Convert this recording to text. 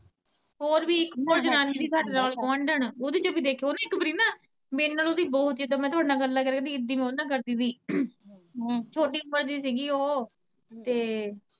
ਓਦੇ ਚ ਵੀ ਦੇਖਿਆ, ਓਹ ਨਾ ਇੱਕ ਵਰੀ ਨਾ ਮੇਰੇ ਨਾਲੋਂ ਵੀ ਬਹੁਤ ਜਿਦਾ ਮੈਂ ਤੁਹਾਡੇ ਨਾਲ ਗੱਲਾਂ ਕਰਦੀ ਰਹੀ ਓਦਾ ਮੈਂ ਓਦੇ ਨਾਲ ਕਰਦੀ ਰਹੀ ਛੋਟੀ ਓਮਰ ਦੀ ਸੀਗੀ ਓਹ।